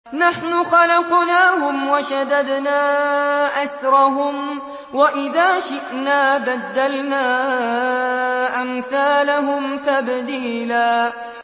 نَّحْنُ خَلَقْنَاهُمْ وَشَدَدْنَا أَسْرَهُمْ ۖ وَإِذَا شِئْنَا بَدَّلْنَا أَمْثَالَهُمْ تَبْدِيلًا